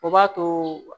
O b'a to